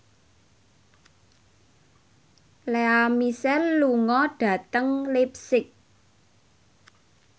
Lea Michele lunga dhateng leipzig